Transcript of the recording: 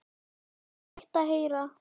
Það var leitt að heyra.